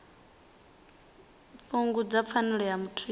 fhungudza pfanelo ya muthu ya